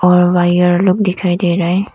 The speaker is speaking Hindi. और वायर लोग दिखाई दे रहा है।